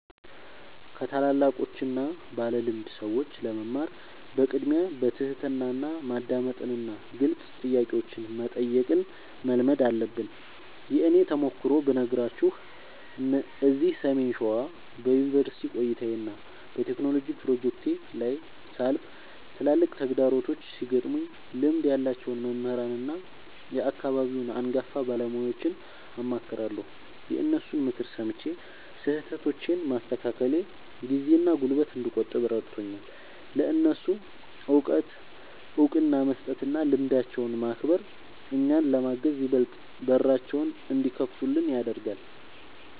ከታላላቆችና ባለልምድ ሰዎች ለመማር በቅድሚያ በትሕትና ማዳመጥንና ግልጽ ጥያቄዎችን መጠየቅን መልመድ አለብን። የእኔን ተሞክሮ ብነግራችሁ፤ እዚህ ሰሜን ሸዋ በዩኒቨርሲቲ ቆይታዬና በቴክኖሎጂ ፕሮጀክቶቼ ላይ ሳልፍ፣ ትላልቅ ተግዳሮቶች ሲገጥሙኝ ልምድ ያላቸውን መምህራንና የአካባቢውን አንጋፋ ባለሙያዎችን አማክራለሁ። የእነሱን ምክር ሰምቼ ስህተቶቼን ማስተካከሌ ጊዜና ጉልበት እንድቆጥብ ረድቶኛል። ለእነሱ እውቀት እውቅና መስጠትና ልምዳቸውን ማክበር፣ እኛን ለማገዝ ይበልጥ በራቸውን እንዲከፍቱልን ያደርጋል።